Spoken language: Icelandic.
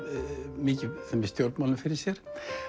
mikið stjórnmálum fyrir sér